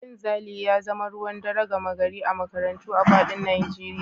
Cin zali ya zama ruwan dare gama gari a makarantu a faɗin Najeriya